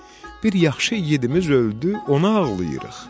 bir yaxşı igidimiz öldü, ona ağlayırıq.